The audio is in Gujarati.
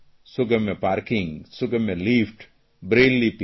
સુગમ્ય પાર્કિંગ સુગમ્ય લિફ્ટ બ્રેઇલ લિપી